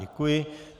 Děkuji.